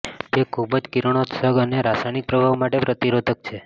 તે ખૂબ જ કિરણોત્સર્ગ અને રાસાયણિક પ્રભાવ માટે પ્રતિરોધક છે